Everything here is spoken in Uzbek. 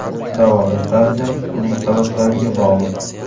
Davolash tarzi uning sabablariga bog‘liq.